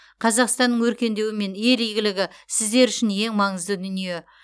қазақстанның өркендеуі мен ел игілігі сіздер үшін ең маңызды дүние